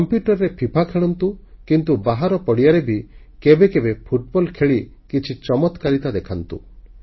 କମ୍ପ୍ୟୁଟରରେ ଫିଫା ଖେଳନ୍ତୁ କିନ୍ତୁ ବାହାର ପଡ଼ିଆରେ ବି କେବେ କେବେ ଫୁଟବଲ ଖେଳି କିଛି ଚମତ୍କାରିତା ଦେଖାନ୍ତୁ